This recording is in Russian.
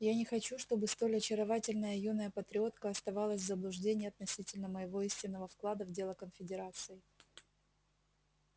я не хочу чтобы столь очаровательная юная патриотка оставалась в заблуждении относительно моего истинного вклада в дело конфедерации